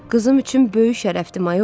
Qızım üçün böyük şərəfdir, mayor.